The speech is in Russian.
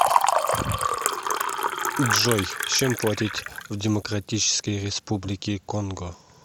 джой чем платить в демократической республике конго